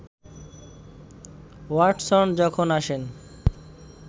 Watson যখন আসেন